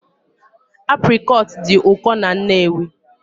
Aprịcot dị ụkọ na Nnewi